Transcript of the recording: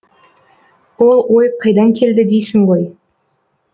ол ой қайдан келді дейсің ғой